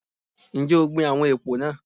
Ǹjẹ́ o gbin àwọn èpò náà?